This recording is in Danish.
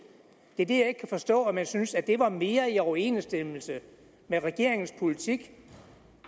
jeg kan ikke forstå at man synes at det er mere i overensstemmelse med regeringens politik